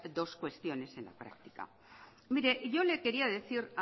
dos cuestiones en la practica mire yo le quería decir